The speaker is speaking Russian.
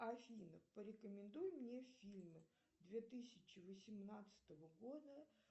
афина порекомендуй мне фильмы две тысячи восемнадцатого года